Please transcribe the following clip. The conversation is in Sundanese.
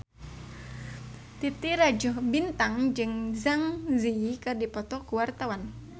Titi Rajo Bintang jeung Zang Zi Yi keur dipoto ku wartawan